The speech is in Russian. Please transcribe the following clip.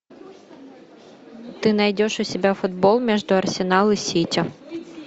ты найдешь у себя футбол между арсенал и сити